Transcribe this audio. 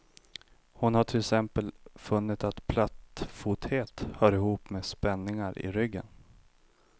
Hon har till exempel funnit att plattfothet hör ihop med spänningar i ryggen.